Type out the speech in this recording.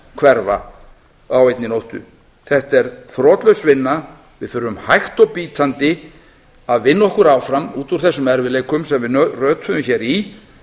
hverfa á einni nóttu þetta er þrotlaus vinna við þurfum hægt og bítandi að vinna okkur áfram út úr þessum erfiðleikum sem við rötuðum hér í